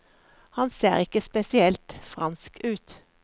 Han ser ikke spesielt fransk ut.